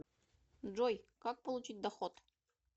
джой как получить доход